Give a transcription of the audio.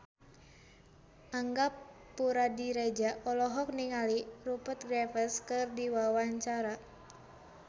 Angga Puradiredja olohok ningali Rupert Graves keur diwawancara